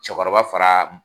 Cɛkɔrɔba fara